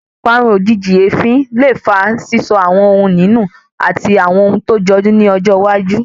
Parun ojìjijì èéfín le fa sísọ àwọn ohùn ìní nu àti àwọn ohun tó jọjú ní ọjọ́ iwájú